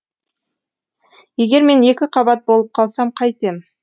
егер мен екіқабат болып қалсам қайтем